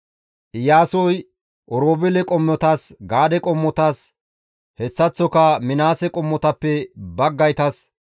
Iyaasoy Oroobeele qommotas, Gaade qommotas, hessaththoka Minaase qommotappe baggaytas,